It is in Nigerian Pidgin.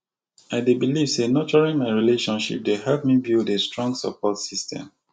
i dey believe say nurturing my relationship dey help me build a strong support system